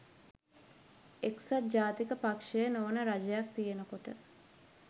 එක්සත් ජාතික පක්ෂය නොවන රජයක් තියෙනකොට